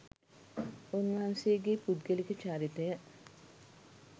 උන්වහන්සේගේ පුද්ගලික චරිතය